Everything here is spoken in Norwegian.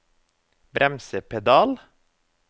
bremsepedal